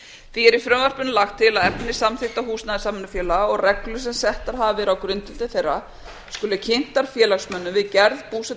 því er í frumvarpinu lagt til að efni samþykkta húsnæðissamvinnufélaga og reglur sem settar hafa verið á grundvelli þeirra skuli kynntar félagsmönnum við gerð